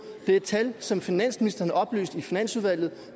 det er tal som finansministeren oplyste i finansudvalget